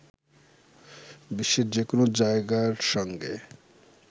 বিশ্বের যে কোন জায়গার সংগে